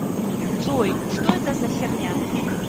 джой что это за херня